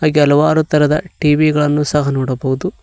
ಹೀಗೆ ಹಲವಾರು ತರದ ಟ_ವಿ ಗಳನ್ನು ಸಹ ನೋಡಬಹುದು.